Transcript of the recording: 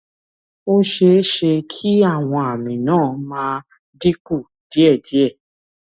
ó ṣeé ṣe kí àwọn àmì náà máa dín kù díẹ̀díẹ̀